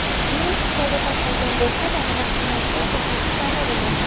Virus Xitoyda tarqalgan bo‘lsa-da, vahimasi O‘zbekistonda bo‘lyapti.